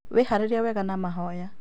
Wĩharĩrie wega na mahoya